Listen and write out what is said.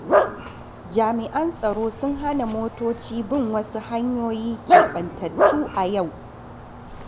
Jami’an tsaro sun hana motoci bin wasu hanyoyi keɓantattu a yau.